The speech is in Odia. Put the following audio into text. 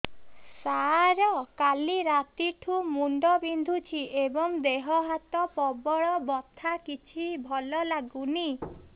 ସାର କାଲି ରାତିଠୁ ମୁଣ୍ଡ ବିନ୍ଧୁଛି ଏବଂ ଦେହ ହାତ ପ୍ରବଳ ବଥା କିଛି ଭଲ ଲାଗୁନି